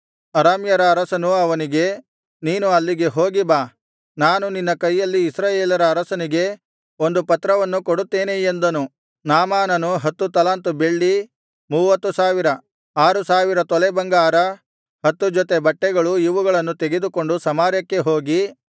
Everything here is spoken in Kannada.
ಅರಾಮ್ಯರ ಅರಸನು ಅವನಿಗೆ ನೀನು ಅಲ್ಲಿಗೆ ಹೋಗಿ ಬಾ ನಾನು ನಿನ್ನ ಕೈಯಲ್ಲಿ ಇಸ್ರಾಯೇಲರ ಅರಸನಿಗೆ ಒಂದು ಪತ್ರವನ್ನು ಕೊಡುತ್ತೇನೆ ಎಂದನು ನಾಮಾನನು ಹತ್ತು ತಲಾಂತು ಬೆಳ್ಳಿ ಮೂವತ್ತು ಸಾವಿರ ಆರು ಸಾವಿರ ತೊಲೆ ಬಂಗಾರ ಹತ್ತು ಜೊತೆ ಬಟ್ಟೆಗಳು ಇವುಗಳನ್ನು ತೆಗೆದುಕೊಂಡು ಸಮಾರ್ಯಕ್ಕೆ ಹೋಗಿ